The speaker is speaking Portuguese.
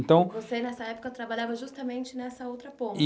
Então, você, nessa época, trabalhava justamente nessa outra ponta.